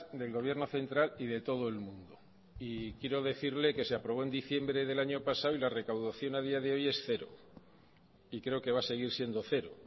del gobierno central y de todo el mundo y quiero decirle que se aprobó en diciembre del año pasado y la recaudación a día de hoy es cero y creo que va a seguir siendo cero